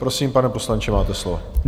Prosím, pane poslanče, máte slovo.